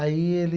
Aí ele.